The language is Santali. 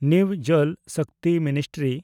new Jal Shakti ministry